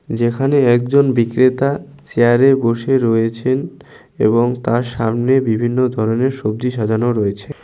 যেখানে একজন বিক্রেতা চেয়ারে বসে রয়েছেন এবং তার সামনে বিভিন্ন ধরনের সবজি সাজানো রয়েছে।